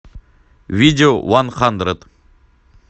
видео ван хандред